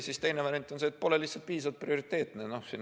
Teine variant on, et pole lihtsalt piisavalt prioriteetne.